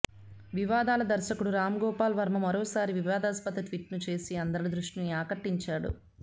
వివాదాల దర్శకుడు రామ్గోపాల్ వర్మ మరోసారి వివాదాస్పద ట్వీట్ను చేసి అందరి దృష్టిని ఆకర్షించాడు